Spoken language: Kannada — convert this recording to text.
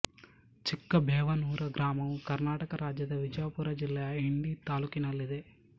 ಚಿಕ್ಕ ಬೇವನೂರ ಗ್ರಾಮವು ಕರ್ನಾಟಕ ರಾಜ್ಯದ ವಿಜಯಪುರ ಜಿಲ್ಲೆಯ ಇಂಡಿ ತಾಲ್ಲೂಕಿನಲ್ಲಿದೆ